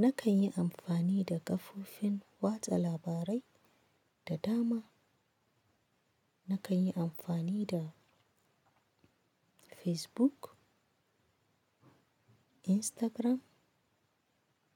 Nakan yi amfani da kafofin watsa labarai da dama. Nakan yi amfani da Facebook, Instagram,